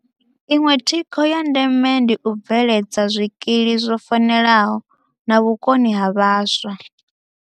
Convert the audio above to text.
Iṅwe thikho ya ndeme ndi u bve ledza zwikili zwo fanelaho na vhukoni ha vhaswa.